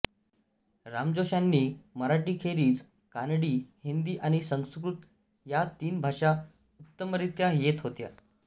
रामजोश्यांना मराठीखेरीज कानडी हिंदी आणि संस्कृत या तीन भाषा उत्तमरीत्या येत होत्या